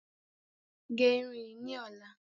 Barb this hair tomorrow